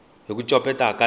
hi ku copeta ka tihlo